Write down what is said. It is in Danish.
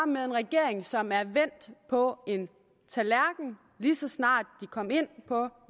med en regering som er vendt på en tallerken lige så snart de kom ind på